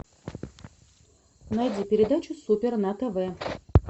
найди передачу супер на тв